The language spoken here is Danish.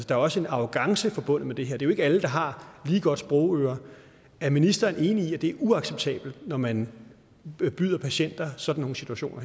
der er også en arrogance forbundet med det her det ikke alle der har lige godt sprogøre er ministeren enig i at det er uacceptabelt når man byder patienter sådan nogle situationer